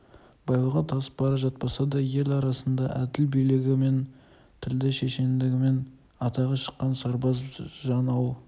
байлығы тасып бара жатпаса да ел арасында әділ билігімен тілді шешендігімен атағы шыққан сырбаз жан ауыл